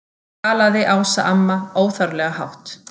galaði Ása amma, óþarflega hátt.